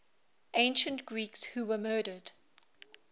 ancient greeks who were murdered